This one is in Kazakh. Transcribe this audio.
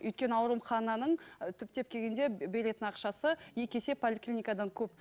өйткені аурухананың ы түптен келгенде беретін ақшасы екі есе поликлиникадан көп